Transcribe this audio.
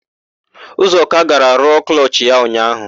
Ụzọka gara rụọ klọchị ya ụnyaahụ.